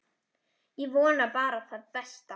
Ég vona bara það besta.